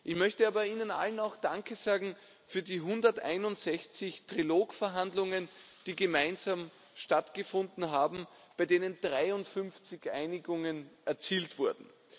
Ich möchte aber Ihnen allen auch Danke sagen für die 161 Trilogverhandlungen, die gemeinsam stattgefunden haben, bei denen 53 Einigungen erzielt wurden.